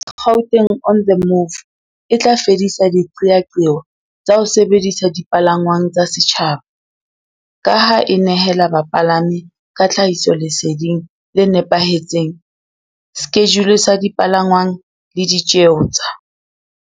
Gauteng on the Move e tla fedisa diqeaqeo tsa ho sebedisa dipalangwang tsa setjhaba, ka ha e nehela bapalami ka tlhahisoleseding le nepahetseng, skejule sa dipalangwang le di tjeo tsa.